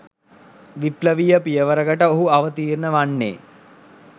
විප්ලවීය පියවරකකට ඔහු අවතීර්ණ වන්නේ